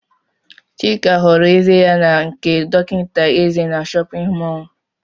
Chika họrọ eze ya n' nke dọkịta eze nọ n'shóppin mol.